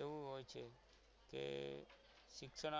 એવું હોય છે કે શિક્ષણ